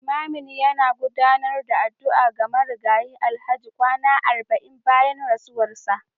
Limamin yana gudanar da addu'a ga Marigayi Alhaji kwana arba'in bayan rasuwarsa